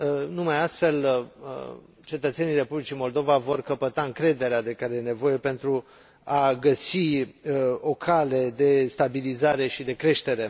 numai astfel, cetățenii Republicii Moldova vor căpăta încrederea de care au nevoie pentru a găsi o cale de stabilizare și de creștere.